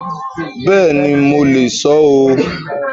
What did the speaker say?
Bẹ́ẹ̀ni, mo le sọ ó